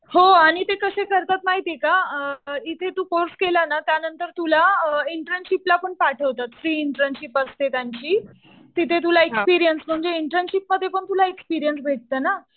हो. आणि ते कसे करतात माहितीये का इथे तू कोर्स केला ना त्यानंतर तुला इंटर्नशिपला पण पाठवतात. फ्री इंटर्नशिप असते त्यांची. तिथे तुला एक्सपीरियन्स म्हणजे इंटर्नशिप मध्ये पण तुला एक्सपीरियन्स भेटतो ना.